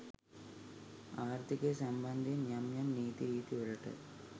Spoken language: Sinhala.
ආර්ථිකය සම්බන්ධයෙන් යම් යම් නීති රීතිවලට